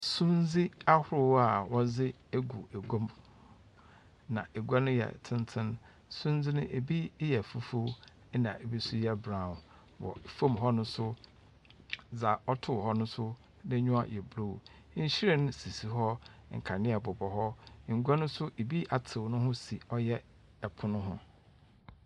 Sundze ahorow a wɔdze egu egua mu, na egua no yɛ tsentsen. Sundze no, bi yɛ fufuw na bi yɛ brown, famu hɔ no so, dza ɔtow hɔ no so n'enyiwa yɛ blue. Nhyiren sisi hɔ, nkandzea bobɔ hɔ. Ngua no so bi atsew no ho si ɔyɛ pon ho.